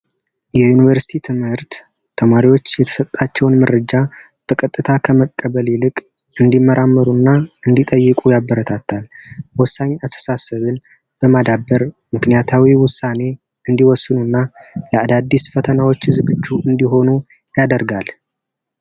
የዩኒቨርሲቲ ትምህርት ተማሪዎች የተሰጣቸውን መረጃ ተቀጥታ ከመቀበል ይልቅ እንዲመራመሩ እና እንዲጠይቁ ያበረታታል። ወሳኝ በማዳበር ምክንያታዊ ውሳኔ እንዲወስኑ ለአዳዲስ ፈተናዎች ዝግጁ እንዲሆኑ ያደርጋል።